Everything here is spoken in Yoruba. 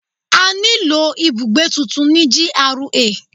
A ní lò ibùgbé tuntun ní GRA.